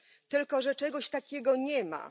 Tylko że czegoś takiego nie ma.